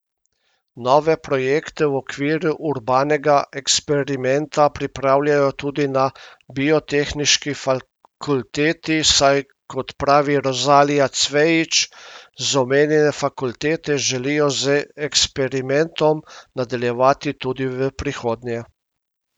Nove projekte v okviru urbanega eksperimenta pripravljajo tudi na biotehniški fakulteti, saj kot pravi Rozalija Cvejić z omenjene fakultete, želijo z eksperimentom nadaljevati tudi v prihodnje.